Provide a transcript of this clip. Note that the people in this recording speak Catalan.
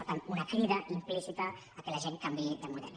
per tant una crida implícita que la gent canviï de model